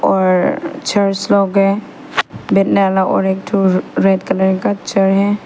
और चर्च लोग है और एक ठो रेड कलर का चेयर है।